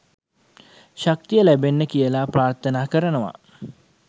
ශක්තිය ලැබෙන්න කියල ප්‍රාර්ථනා කරනව.